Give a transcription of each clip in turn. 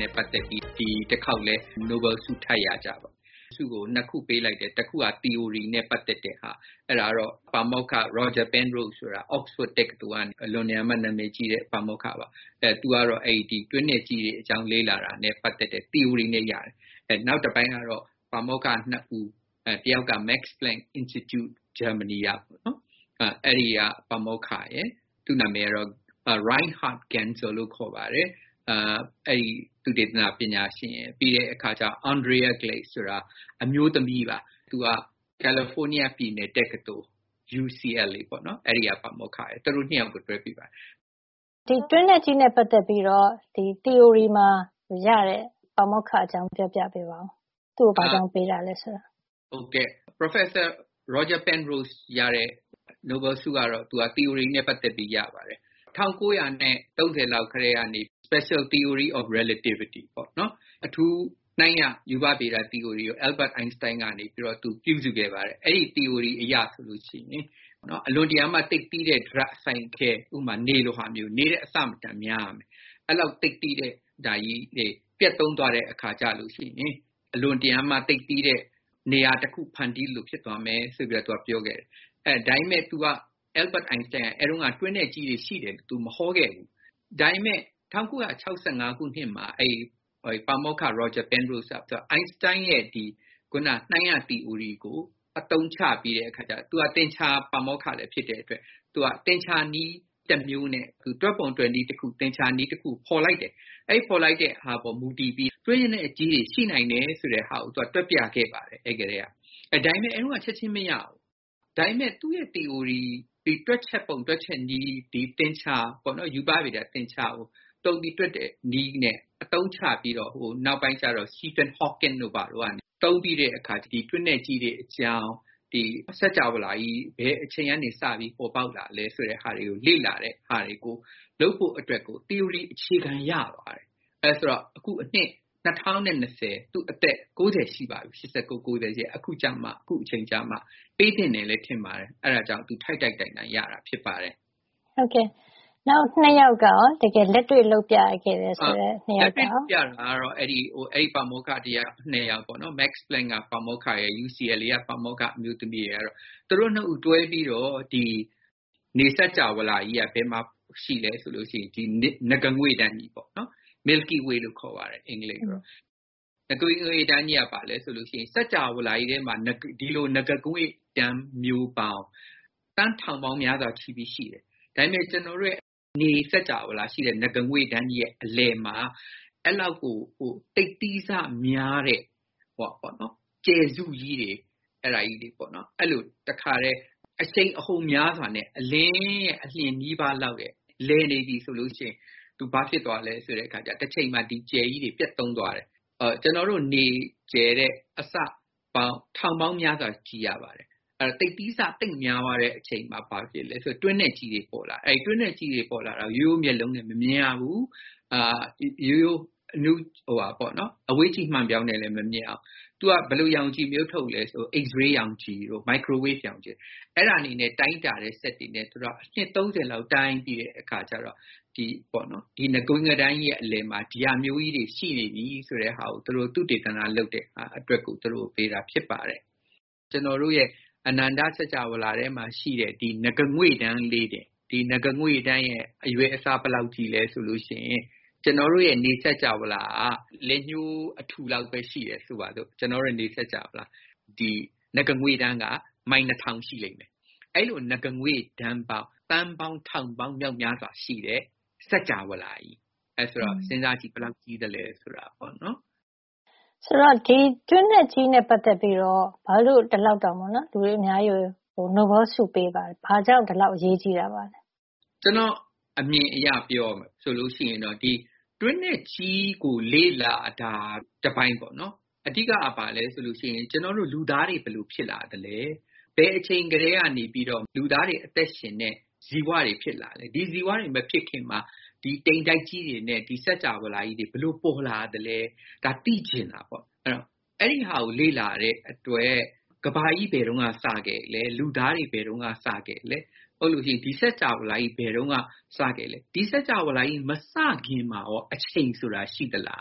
နဲ့ပတ်သက်ပြီး ဒီတခေါက်လည်း နိုဘဲလ်ဆု ထပ်ရကြတယ်။ ဒီဆုကို ၂ ခု အတွက် ပေးလိုက်တယ်။ တခုက သီအိုရီနဲ့ ပတ်သက်တဲ့ဟာ။ အဲဒါကတော့ ပါမောက္ခ Roger Penrose ပါ။ Oxford တက္ကသိုလ်က အလွန်တရာမှ နံမယ်ကြီးတဲ့ ပါမောက္ခပါ။ သူကတော့ တွင်းနက်ကြီးတွေ အကြောင်း လေ့လာတာနဲ့ ပတ်သက်တဲ့ သီအိုရီနဲ့ ရတာ။ နောက်တပိုင်းကတော့ ပါမောက္ခ ၂ ဦး တဦးက Max Planck Institute ဂျာမဏီကပါ။ သူ့နံမယ်ကတော့ Reinhard Genzel လို့ ခေါ်ပါတယ်။ နောက်တယောက်က Andrea Ghez ဆိုတာ အမျိုးသမီးပါ။ သူက ကယ်လီဖိုးနီးယား ပြည်နယ် တက္ကသိုလ် UCLA ပေါ့နော်။ သူတို့ ၂ ယောက်ကို တွဲ ပေးပါတယ်။” “ဒီတွင်းနက်ကြီးနဲ့ ပတ်သက်ပြီးတော့ သီအိုရီနဲ့ ရတဲ့ ပါမောက္ခ အကြောင်း ပြောပြပေးပါ။ သူ့ကို ဘာကြောင့် ပေးရတာလဲ ဆိုတာ၊” “ပါမောက္ခ Roger Penrose ရတာက သီအိုရီနဲ့ ပတ်သက်ပြီး ရတာပါ။ ၁၉ ၃၀ လောက်ကတည်းကနေ special theory of relativity အထူးနှိုင်းရ ရူပဗေဒသီအိုရီကို သိပ္ပံပညာရှင် Albert Einstein က ပြုစုခဲ့ပါတယ်။ အဲဒီ သီအိုရီအရ ဆိုရင် အလွန်တရာမှ သိပ်သည်းတဲ့ ဒြပ်အစိုင်အခဲ ဥပမာ နေလိုဟာမျိုး၊ နေထက် အဆမတန် များရမယ်။ အဲဒီလောက် သိပ်သည်းတဲ့ ဟာကြီးတွေ ပျက်သုဉ်း သွားတဲ့ အခါ ကျရင် အလွန်တရာမှ သိပ်သည်းတဲ့ နေရာ တခု ဖန်တီး သလို ဖြစ်သွားမယ် ဆိုတာ သူက ပြောခဲ့တယ်။ ဒါပေမယ့် သူက Albert Einstein က တွင်းနက်ကြီးတွေ ရှိတယ် သူမဟောခဲ့ဘူး။ ဒါပေမယ့် ၁၉ ၆၅ ခုနှစ်မှာ အဲဒီ ပါမောက္ခ Roger Penrose က အိုင်စတိုင်းရဲ့ ခုန နှိုင်းရသီအိုရီကို အသုံးချပြီးတော့ သူက သင်္ချာ ပါမောက္ခလည်း ဖြစ်တဲ့ အတွက် သူက သင်္ချာနည်း တမျိုးနဲ့ တွက်ပုံတွက်နည်း တခု သင်္ချာနည်းတခုကို ဖေါ်လိုက်တယ်။ အဲဒီလို ဖေါ်လိုက်တဲ့ ဟာပေါ်မူတည်ပြီး တွင်းနက်ကြီးတွေ ရှိနိုင်တယ် ဆိုတဲ့ဟာကို တွက်ပြခဲ့ပါတယ်။ အဲဒီကတည်းက။ ဒါပေမယ့် အဲဒီတုန်းက ဒီနိုဘဲလ်ဆုကို ချက်ချင်း မရဘူး။ ဒါပေမယ့်သူ့ရဲ့သီအိုရီ၊ ဒီတွက်ချက်ပုံ တွက်ချက်နည်းက ရူပဗေဒသင်္ချာကို သုံးပြီး တွက်တဲ့နည်းနဲ့ အသုံးချပြီးတော့ နောက်ပိုင်းမှာ Stephan Hawking တို့ ဘာတို့က ဒါကို သုံးပြီး တွင်းနက်ကြီးတွေ အကြောင်း၊ စကြာဝဌာကြီး ဘယ်အချိန်ကစပြီး ပေါ်ပေါက်လာသလဲ ဆိုတာတွေကို လေ့လာဖို့ သီအိုရီ အခြေခံ ရသွားတယ်။ အဲဒါ ဆိုတော့ အခု ၂၀၂၀ သူ့အသက် ၉ ၀ ရှိပါပြီ။ အဲဒီ အခါ ကျတော့မှရတာပါ။ ပေးသင့်တယ်ထင်ပါတယ်။ သူထိုက်ထိုက်တန်တန် ရတာပါ။” “နောက် ၂ ယောက်ကရော၊ တကယ်လက်တွေ့ ပြသခဲ့တဲ့ ၂ ယောက်ကရော” “လက်တွေ့ ပြတဲ့ ပါမောက္ခက ၂ ယောက်ပေါ့နော်။ Max Planck က ပါမောက္ခရယ်၊ UCLA က အမျိုးသမီးပါမောက္ခရယ်ကတော့၊ သူတို့ ၂ ဦးတွဲပြီးတော့။. နေစကြာဝဌာကြီးက ဘယ်မှာ ရှိသလဲ ဆိုရင် ဒီ နဂါးငွေ့တန်းကြီးပေါ့နော်။ milky way လို့ ခေါ်ပါတယ်။ စင်္ကြာဝဌာကြီးထဲမှာ ဒီလို နဂါးငွေ့တန်း မျိုးပေါင်း သန်း ထောင်ပေါင်းများစွာ ရှိတယ်။ ဒါပေမယ့် ကျနော်တို့ရဲ့ နေစင်္ကြာဝဌာ ရှိတဲ့ နဂါးငွေ့တန်းကြီးရဲ့ အလယ်မှာ အဲဒီလောက်ကို သိပ်သည်းဆ များတဲ့ ကြယ်စုကြီးတွေ၊ အဲဒါကြီးတွေ ပေါ့နော်။ အဲလို အရှိန်အဟုန် များစွာနဲ့ အလင်းရဲ့ အလျင်နီးပါး လောက်နဲ့ လည်နေပြီ ဆိုလို့ရှိရင် တချိန်မှာ သူဘာဖြစ်သွားသလဲ ဆိုတော့ တချိန်မှာ ဒီကြယ်ကြီးတွေ ပျက်သုဉ်းသွားတယ်။ ကျနော်တို့ နေကြယ်ထက် အဆပေါင်း ထောင်ပေါင်းများစွာ ကြီးရပါတယ်။ အဲဒီတော့ သိပ်သည်းဆ သိပ်များသွားတဲ့ အချိန်မှာ ဘာဖြစ်လဲ ဆိုတော့တွင်းနက်ကြီးတွေ ပေါ်လာတယ်။ အဲဒီလို တွင်းနက်ကြီးတွေ ပေါ်လာတာကို ရိုးရိုး မျက်လုံးနဲ့ မမြင်ရဘူး။ ရိုးရိုး အဝေးကြည့်မှန်ပြောင်းနဲ့ လည်း မမြင်ရဘူး။ သူက ဘယ်လို ရောင်ခြည်မျိုး ထုတ်သလဲ ဆိုတော့ X-ray ရောင်ခြည်တို့ မိုက်ခရိုဝေ့ဖ် ရောင်ခြည်တို့။ အဲဒါတွေနဲ့ တိုင်းတာတဲ့ စက်တွေနဲ့ သူတို့က အနှစ် ၃၀ လောက် တိုင်းပြီးတဲ့ အခါကျတော့ ဒီ နဂါးငွေ့တန်းကြီးရဲ့ အလယ်မှာ ဒီဟာမျိုးကြီးတွေ ရှိနေပြီဆိုတာ ပြတဲ့ သုတေသန လုပ်တဲ့ အတွက် သူတို့ကို ပေးတာ ဖြစ်ပါတယ်။ ကျနော်တို့ရဲ့ အနန္တ စင်္ကြာဝဌာထဲမှာ ရှိတဲ့ နဂါးငွေ့တန်း ကလေးတင်၊ ဒီနဂါးငွေ့တန်းရဲ့ အရွယ်အစား ဘယ်လောက် ကြီးသလဲ ဆိုရင် ကျနော်တို့ရဲ့ နေစင်္ကြာဝဌာက လက်တလုံး အထူလောက်ပဲ ရှိမယ် ဆိုရင် ဒီနဂါးငွေ့တန်းက မိုင် ၂၀၀၀ ရှိတယ်။ အဲဒီလို နဂါးငွေ့တန်းပေါင်း သန်းထောင်ပေါင်း မြောက်များစွာရှိတဲ့ စင်္ကြာဝဌာကြီး။ အဲဒီတော့ စဉ်းစားကြည့်ပေတော့ ဘယ်လောက် ကြီးသလဲ ဆိုတာ။” “ တွင်းနက်ကြီးနဲ့ ပတ်သက်ပြီးတော့ ဘာလို့ ဒီလောက်တောင် လူအများကြီးကို နိုဘဲလ် ဆုပေးတာလဲ။ ဘာကြောင့် ဒီလောက် အရေးကြီးရတာ ပါလဲ။” “ကျနော့်အမြင်အရ ပြောရလို့ရှိရင် ဒီတွင်းနက်ကြီးကို လေ့လာတာက တပိုင်းပေါ့နော်။ အဓိကက ဘာလဲ ဆိုလို့ရှိရင် ကျနော်တို့ လူသားတွေ ဘယ်လို ဖြစ်လာသလဲ။ ဘယ်အချိန်ကတည်းက လူသားတွေ အသက်ရှင်တဲ့ ဇီဝတွေ ဖြစ်လာသလဲ။ ဒီဇီဝတွေ မဖြစ်ခင်မှာ ဒီ တိမ်တိုက်ကြီးတွေနဲ့ ဒီစင်္ကြာဝဌာကြီးတွေ ဘယ်လိုပေါ်လာသလဲ။ ဒါသိချင်တာပေါ့နော်။ အဲဒီတော့ အဲဒီဟာကို လေ့လာတဲ့အတွက် ကမ္ဘာကြီး ဘယ်တုန်းက စခဲ့သလဲ။ လူသားတွေ ဘယ်တုန်းက စခဲ့သလဲ။ ဒါမှမဟုတ်လို့ရှိရင် ဒီစင်္ကြာဝဌာကြီး ဘယ်တုန်းကစခဲ့သလဲ။ ဒီစင်္ကြာဝဌာကြီး မစခင် မှာရော အချိန် ဆိုတာ ရှိသလာ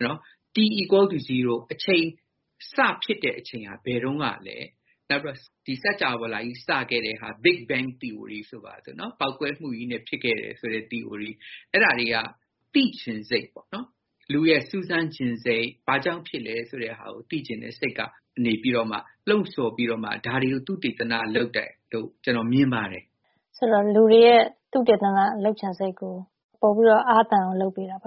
။ T= 0 အချိန်စ ဖြစ်တဲ့ အချိန်ဟာ ဘယ်တုန်းကလဲ။ နောက်ပြီး ဒီစင်္ကြာဝဌာကြီး စခဲ့တဲ့ဟာ big bang သီအိုရီ ဆိုပါစို့နော်။ ဒီ ပေါက်ကွဲမှုကြီးနဲ့ ဖြစ်ခဲ့တယ် ဆိုတဲ့ သီအိုရီ။ အဲဒါတွေ ပေါ့နော်။ လူရဲ့ စူးစမ်းချင်စိတ်၊ ဘာကြောင့် ဖြစ်လဲ ဆိုတာကို သိချင်တဲ့စိတ်ကနေ လှုံ့ဆော် ပြီးတော့မှ ဒါတွေကို သုတေသနလုပ် ကြတာလို့ ကျနော်မြင်ပါတယ်။” “အဲဒီတော့ လူတွေရဲ့ သုတေသန လုပ်ချင်စိတ်ကို ပိုပြီးတော့ အားသန်အောင် လုပ်ပေးတာ ပေါ့